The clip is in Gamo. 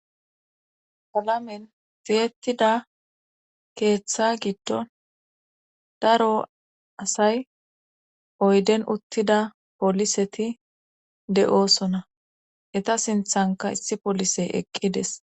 Palamen zeettida keeththa giddon daro asay oyden uttida poliseti de'oosona eta sinthanka issi polisey eqqides.